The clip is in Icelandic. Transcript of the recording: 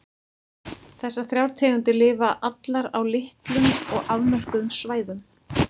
Þessar þrjár tegundir lifa allar á litlum og afmörkuðum svæðum.